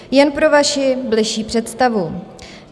Jen pro vaši bližší představu.